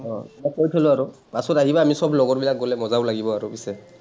মই কৈ থ’লো আৰু। পাছত আহিবা আমি চব লগৰবিলাক গলে মজাও লাগিব আৰু পিছে।